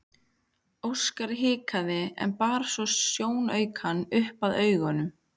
Óskar hikaði en bar svo sjónaukann upp að augunum.